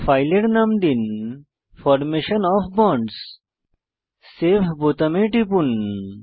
ফাইলের নাম দিন ফরমেশন ওএফ বন্ডস সেভ বোতামে টিপুন